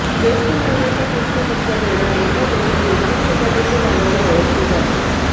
ज्येष्ठ महिन्याच्या कृष्ण पक्षात येणारी एकादशी योगिनी एकादशी नावाने ओळखली जाते